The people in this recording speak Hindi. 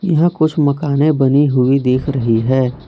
यहां कुछ मकाने बनी हुए दिख रही है।